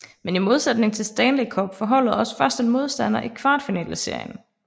Men i modsætning til Stanley Cup får holdet også først en modstander i kvartfinaleserien